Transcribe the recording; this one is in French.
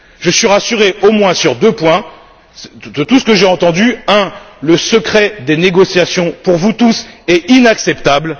Je suis rassuré au moins sur deux points de tout ce que j'ai entendu premièrement, le secret des négociations pour vous tous est inacceptable.